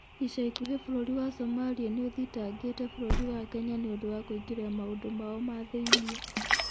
Ica ikuhĩ bũrũri wa Somalia nĩũthitangĩte bũrũri wa Kenya nĩũndũ wa kũingĩrĩra maũndũ mao ma thĩinĩ